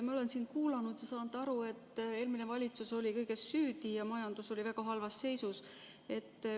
Ma olen siin kuulanud ja saanud aru, et eelmine valitsus oli kõiges süüdi ja majandus oli väga halvas seisus.